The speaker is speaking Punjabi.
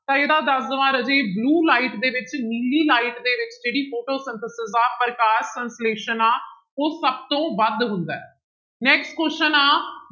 ਤਾਂ ਇਹਦਾ ਦੱਸ ਦੇਵਾਂ ਰਾਜੇ blue light ਦੇ ਵਿੱਚ ਨੀਲੀ light ਦੇ ਵਿੱਚ ਜਿਹੜੀ Photosynthesis ਆ ਪ੍ਰਕਾਸ਼ ਸੰਸਲੇਸ਼ਣ ਆਂ ਉਹ ਸਭ ਤੋਂ ਵੱਧ ਹੁੰਦਾ ਹੈ next question ਆਂ